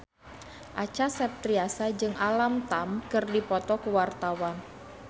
Acha Septriasa jeung Alam Tam keur dipoto ku wartawan